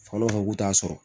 Falo k'u t'a sɔrɔ